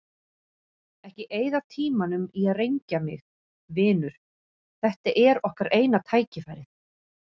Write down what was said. Ekki eyða tímanum í að rengja mig, vinur, þetta er okkar eina tækifærið.